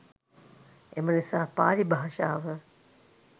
එම නිසා පාලි භාෂාව